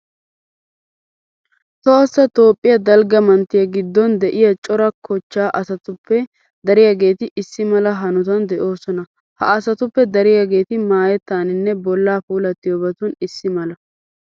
Tohossa toophphiya dalgga manttiya giddon de'iya cora kochchaa asatuppe dariyageeti issi mala hanotan de'oosona. Ha asatuppe dariyageeti maayettaaninne bollaa puulattiyobatun issi mala.